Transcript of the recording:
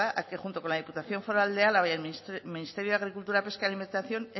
a que junto con la diputación foral de álava y el ministerio de agricultura pesca y alimentación